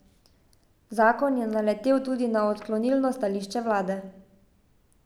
Zakon je naletel tudi na odklonilno stališče vlade.